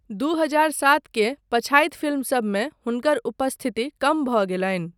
दू हजार सात के पछाति फिल्मसबमे हुनकर उपस्थिति कम भऽ गेलनि।